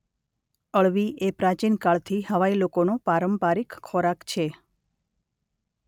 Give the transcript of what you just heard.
અળવી એ પ્રાચીનકાળથી હવાઈ લોકોનો પારંપારિક ખોરાક છે.